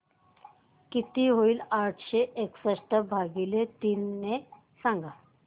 किती होईल आठशे एकसष्ट भागीले तीन सांगा